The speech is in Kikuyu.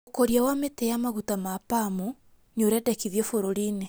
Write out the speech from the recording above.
ũkũria wa mĩtĩ ya maguta ma Palm nĩũrendekithio bũrũri-inĩ